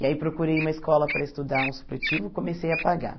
E aí procurei uma escola para estudar um supletivo e comecei a pagar.